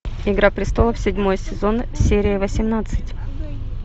игра престолов седьмой сезон серия восемнадцать